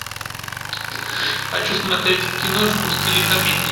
хочу смотреть киношку в стиле комедии